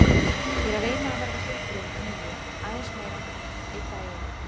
Ég er að reyna að verða heilbrigð að nýju, aðeins meira, einn dag í einu.